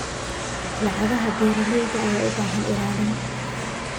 Lacagaha beeralayda ayaa u baahan ilaalin.